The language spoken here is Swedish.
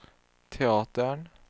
teatern